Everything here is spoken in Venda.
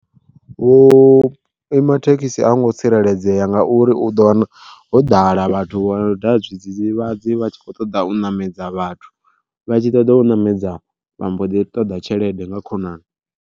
Thekhisi a hungo tsireledzea ngauri u ḓo wana ho ḓala vhathu vha u daha zwidzidzivhadzi vha tshi kho ṱoḓa u ṋamedza vhathu, vha tshi ṱoḓa u ṋamedza vhamboḓi ṱoḓa tshelede nga khonani.